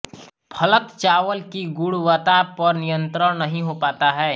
फलत चावल की गुणवत्ता पर नियंत्रण नहीं हो पाता है